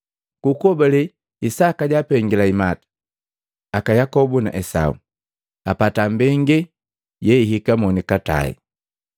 Ku kuhobale Isaka jaapengaliya imata aka Yakobu na Esau, apata mbenge yeihika monikatae.